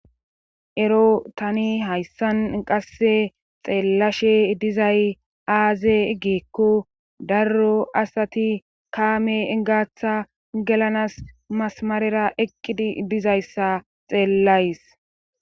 ero tani hayssan qasse xeellashe dizay aaze giekko darro asati kaame gaaththa gelanas masamarera eqqidi dizayssa xeellays